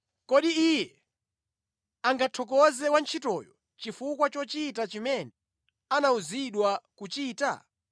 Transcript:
Kodi iye angathokoze wantchitoyo chifukwa chochita chimene anawuzidwa kuchita?